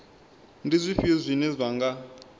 ndi zwifhio zwine zwa nga